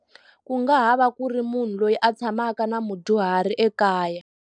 Ku nga ha va ku ri munhu loyi a tshamaka na mudyuhari ekaya.